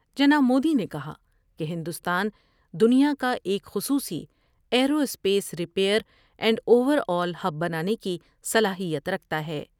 جناب مودی نے کہا کہ ہندوستان دنیا کا ایک خصوصی aerospace rear and overall hub بنانے کی صلاحیت رکھتا ہے ۔